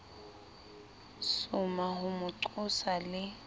soma ho mo qosa le